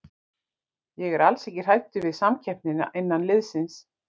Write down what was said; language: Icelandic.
Ég er alls ekki hræddur við samkeppnina innan liðsins.